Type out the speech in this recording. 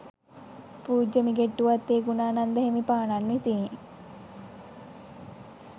පූජ්‍ය මිගෙට්ටුවත්තේ ගුණානන්ද හිමිපාණන් විසිනි.